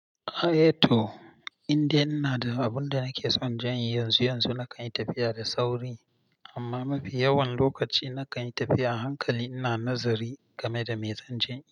Aeto, indai ina da abin da nake son zan yi, yanzu yanzu na kan yi tafiya da sauri amma mafi yawan lokaci na kan yi tafiya a hankali ina nazari game da mai zanje in yi.